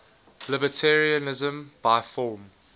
libertarianism by form